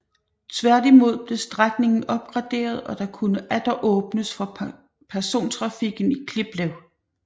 Tværtimod blev strækningen opgraderet og der kunne atter åbnes for persontrafikken i Kliplev